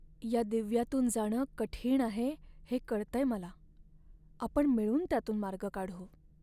या दिव्यातून जाणं कठीण आहे, हे कळतंय मला! आपण मिळून त्यातून मार्ग काढू.